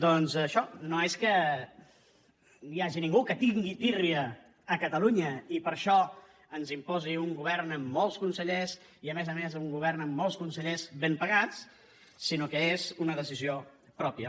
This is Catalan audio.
doncs això no és que hi hagi ningú que tingui tírria a catalunya i que per això ens imposi un govern amb molts consellers i a més a més un govern amb molts consellers ben pagats sinó que és una decisió pròpia